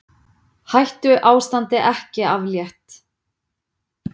Hættuástandi ekki aflétt